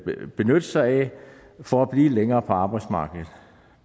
vil benytte sig af for at blive længere på arbejdsmarkedet